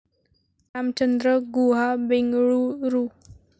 Ramchandra Guha, Bengaluru